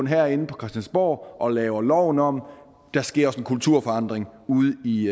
herinde på christiansborg og laver loven om der sker også en kulturforandring ude i